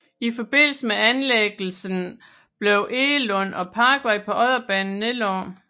I forbindelse med anlæggelsen blev Egelund og Parkvej på Odderbanen nedlagt